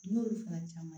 N y'olu fana caman